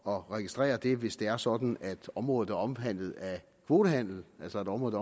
at registrere det hvis det er sådan at området er omhandlet af kvotehandel altså et område